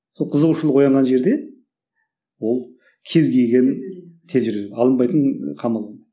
сол қызығушылық оянған жерде ол кез келгенін тез үйренеді алынбайтын ыыы қамал